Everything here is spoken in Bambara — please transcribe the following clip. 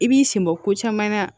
I b'i sen bɔ ko caman na